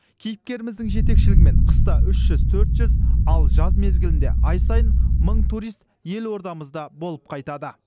кейіпкеріміздің жетекшілігімен қыста үш жүз төрт жүз ал жаз мезгілінде ай сайын мың турист елордамызда болып қайтады